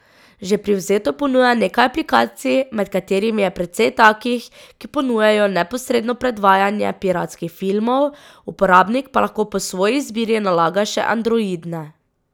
Že privzeto ponuja nekaj aplikacij, med katerimi je precej takih, ki ponujajo neposredno predvajanje piratskih filmov, uporabnik pa lahko po svoji izbiri nalaga še androidne.